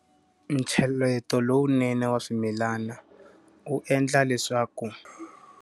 Ncheleto lowunene wa swimilana, wu endla leswaku.